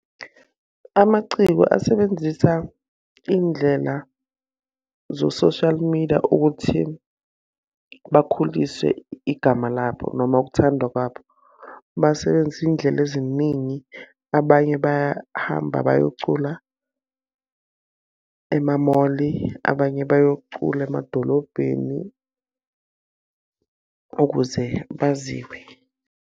Amaciko asebenzisa iy'ndlela zo-social media ukuthi bakhulise igama labo noma ukuthandwa kwabo. Basebenzise iy'ndlela ziningi, abanye bahamba bayocula emamoli, abanye bayocula emadolobheni ukuze baziwe.